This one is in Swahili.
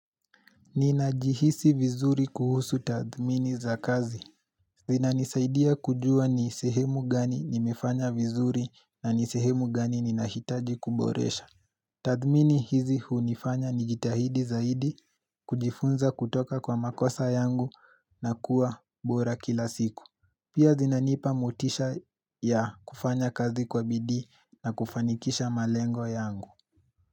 Ninajihisi vinzuri kuhusu tathimini za kazi. Zinanisaidia kujua ni sehemu gani nimefanya vinzuri na ni sehemu gani ninahitaji kuboresha. Tathimini hizi hunifanya nijitahidi zaidi kujifunza kutoka kwa makosa yangu na kuwa bora kila siku. Pia zinanipa motisha ya kufanya kazi kwa bidii na kufanikisha malengo yangu.